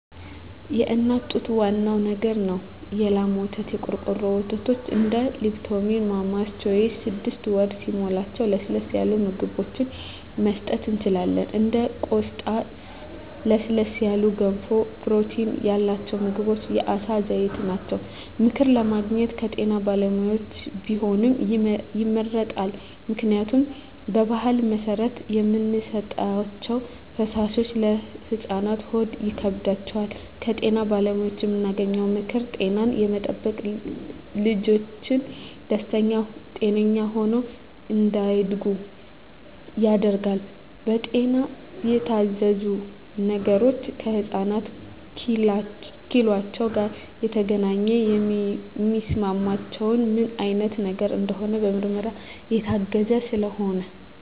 የእናት ጡት ዋናው ነገር ነው የላም ወተት , የቆርቆሮ ወተቶች እንደ ሊፕቶሚል ማማስ ቾይዥ ስድስት ወር ሲሞላቸው ለስለስ ያሉ ምግብችን መስጠት እንችላለን እንደ ቆስጣ ለስለስ ያሉ ገንፎ ፕሮቲን ያላቸው ምግቦች የአሳ ዘይት ናቸው። ምክር ለማግኘት ከጤና ባለሙያዎች ቢሆን ይመረጣል ምክንያቱም በባህል መሰረት የምንሰጣቸዉ ፈሳሾች ለህፃናት ሆድ ይከብዳቸዋል። ከጤና ባለሙያዎች የምናገኘው ምክር ጤናን የጠበቀ ልጅች ደስተኛ ጤነኛ ሆነው እንዳድጉ ያደርጋል። በጤና የታዘዙ ነገሮች ከህፃናት ኪሏቸው ጋር የተገናኘ የሚስማማቸው ምን አይነት ነገር እንደሆነ በምርመራ የታገዘ ስለሆነ